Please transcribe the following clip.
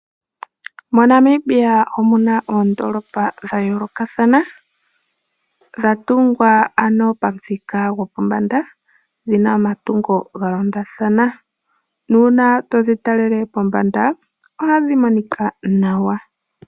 MoNamibia omuna oondolopa dha yoolokathana, dha tungwa pomuthika gwopombanda dhina omatungo ga londathana, uuna todhi talele pombanda ohadhi monika nawa.